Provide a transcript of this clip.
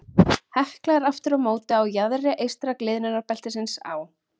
Hekla er aftur á móti á jaðri eystra gliðnunarbeltisins á